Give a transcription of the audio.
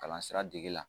Kalan sira dege la